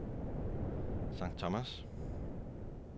St. Thomas